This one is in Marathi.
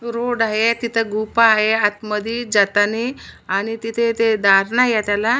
रोड आहे तिथे गुफा आहे आतमधी जातानी आणि तिथे ते दार नाइ ये त्याला.